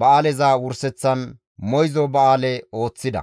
ba7aaleza wurseththan moyzo ba7aale ooththida.